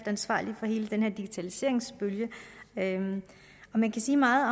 ansvarlig for hele den her digitaliseringsbølge man kan sige meget